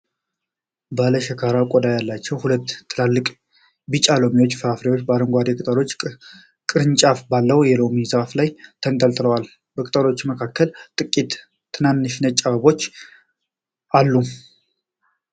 ባለ ሸካራ ቆዳ ያላቸው ሁለት ትላልቅ ቢጫ የሎሚ ፍሬዎች በአረንጓዴ ቅጠሎችና ቅርንጫፎች ባለው የሎሚ ዛፍ ላይ ተንጠልጥለዋል። በቅጠሎቹ መካከል ጥቂት ትናንሽ ነጭ አበባዎች አሉ፡፡፡